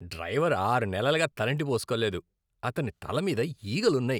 Driver ఆరు నెలలుగా తలంటి పోస్కోలేదు, అతని తల మీద ఈగలున్నాయి.